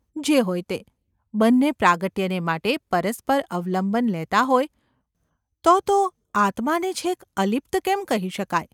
જે હોય તે. બંને પ્રાગટ્યને માટે પરસ્પર અવલંબન લેતાં હોય તો તો આત્માને છેક અલિપ્ત કેમ કહી શકાય?